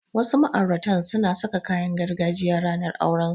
Wasu ma'auratan suna saka kayan gargajiya ranar aurensu.